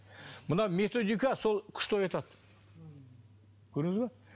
мына методика сол күшті оятады көрдіңіз бе